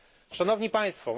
Szanowni Państwo!